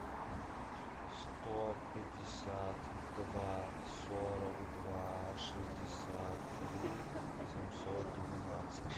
сто пятьдесят два сорок два шестьдесят три семьсот двенадцать